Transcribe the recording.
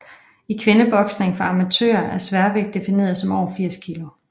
I kvindeboksning for amatører er sværvægt defineret som over 80 kg